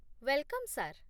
Welcome sir.